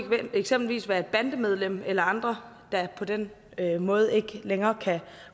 eksempelvis være et bandemedlem eller andre der på den måde ikke længere kan